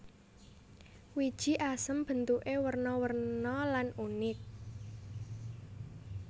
Wiji asem bentuké werna werna lan unik